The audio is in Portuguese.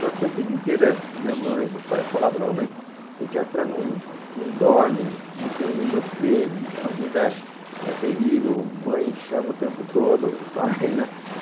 Só que a vida inteira, minha mãe e meu pai falavam, não, mas pediatra não não dorme, não tem um minuto dele, a vida é terrível, mãe chama o tempo todo, pai, né?